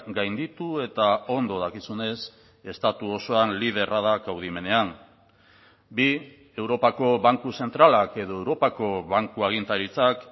gainditu eta ondo dakizunez estatu osoan liderra da kaudimenean bi europako banku zentralak edo europako banku agintaritzak